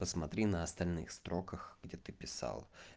посмотри на остальных строках где ты писал